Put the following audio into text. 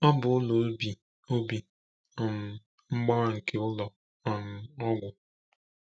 Ọ bụ ụlọ Obi Obi um Mgbawa nke ụlọ um ọgwụ.